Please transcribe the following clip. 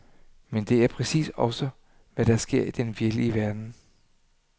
Men det er præcis også ofte hvad der sker i den virkelige verden.